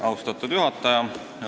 Austatud juhataja!